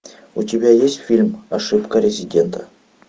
у тебя есть фильм ошибка резидента